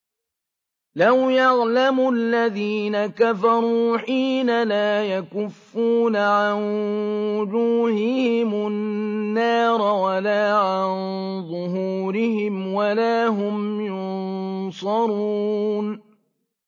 لَوْ يَعْلَمُ الَّذِينَ كَفَرُوا حِينَ لَا يَكُفُّونَ عَن وُجُوهِهِمُ النَّارَ وَلَا عَن ظُهُورِهِمْ وَلَا هُمْ يُنصَرُونَ